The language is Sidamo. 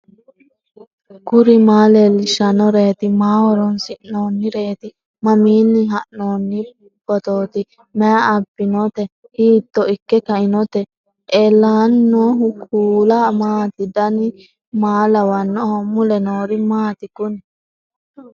kuri maa leellishannoreeti maaho horoonsi'noonnireeti mamiinni haa'noonni phootooti mayi abbinoote hiito ikke kainote ellannohu kuulu maati dan maa lawannoho mule noori maati kuni